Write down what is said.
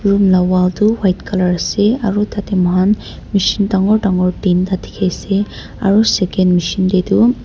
room laga wall tu white colour ase aru tarte moi khan machine dagur dagur tinta dekhi ase aru second machine te tu--